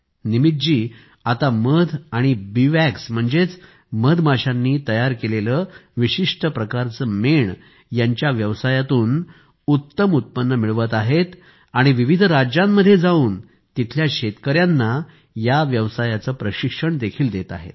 निमितजी आता मध आणि बीवॅक्स म्हणजेच मधमाशांनी तयार केलेले विशिष्ट प्रकारचे मेण यांच्या व्यवसायातून उत्तम उत्पन्न मिळवत आहेत आणि विविध राज्यांमध्ये जाऊन तेथील शेतकऱ्यांना या व्यवसायाचे प्रशिक्षण देखील देत आहेत